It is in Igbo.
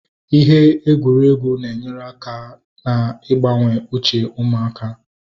Ihe egwuregwu na-enyere aka na igbawanye uche ụmụaka